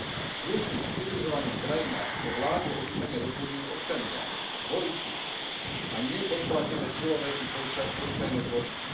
V slušných, civilizovaných krajinách o vláde obyčajne rozhodujú občania, voliči a nie podplatené silové či policajné zložky.